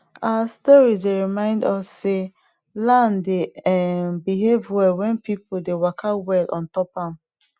our storeis dey remind us sey land dey um behave well wen people dey waka well ontop am